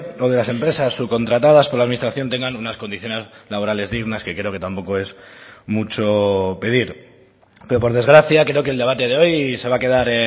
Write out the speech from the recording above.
o de las empresas subcontratadas por la administración tengan unas condiciones laborales dignas que creo que tampoco es mucho pedir pero por desgracia creo que el debate de hoy se va a quedar